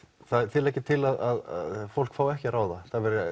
þið leggið til að fólk fái ekki að ráða